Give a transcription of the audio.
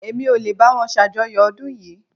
Èmi ò lè báwo ṣàjọyọ̀ ọdún yìí